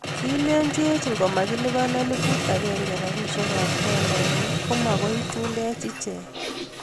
Kilenjech ngomakilipan elepuut agenge rapisiek ab tolainil komakoi ichundeech icheek